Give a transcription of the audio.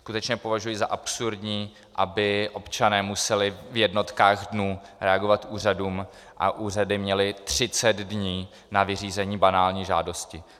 Skutečně považuji za absurdní, aby občané museli v jednotkách dnů reagovat úřadům a úřady měly 30 dní na vyřízení banální žádosti.